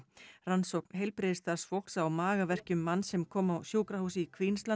rannsókn heilbrigðisstarfsfólks á magaverkjum manns sem kom á sjúkrahús í